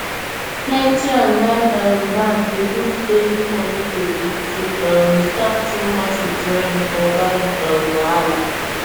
plenty online um banks dey put daily money tori to um stop too much withdrawing or buying um wahala